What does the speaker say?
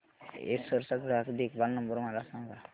Acer चा ग्राहक देखभाल नंबर मला सांगा